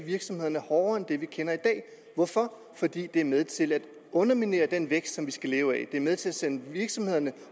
virksomhederne hårdere end det vi kender i dag hvorfor fordi det er med til at underminere den vækst som vi skal leve af det er med til at sende virksomhederne